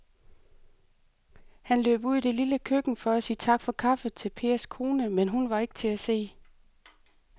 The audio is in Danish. Han løb ud i det lille køkken for at sige tak for kaffe til Pers kone, men hun var ikke til at se.